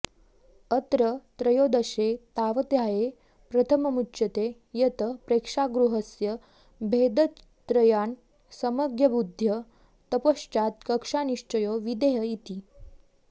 अत्र त्रयोदशे तावदध्याये प्रथममुच्यते यत् प्रेक्षागृहस्य भेदत्रयान् सम्यगवबुद्ध्य तत्पश्चात् कक्ष्यानिश्चयो विधेयः इति